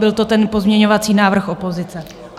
Byl to ten pozměňovací návrh opozice.